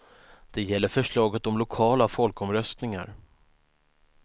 Det gäller förslaget om lokala folkomröstningar.